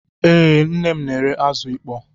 Ee, nne m na-ere azụ ịkpọ